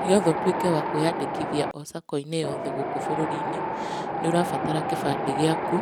Nĩgetha ũtũĩke wa kwĩyandĩkithia o sacco-inĩ o yothe gũkũ bũrũri-inĩ, nĩ ũrabatara gĩbandĩ gĩaku,